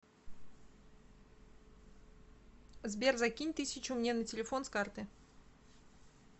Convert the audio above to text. сбер закинь тысячу мне на телефон с карты